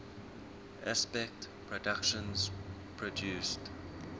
aspect productions produced